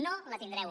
no la tindreu